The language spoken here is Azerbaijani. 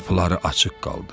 Qapıları açıq qaldı.